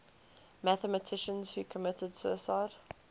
mathematicians who committed suicide